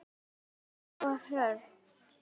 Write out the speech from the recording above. Hlín og Hrönn.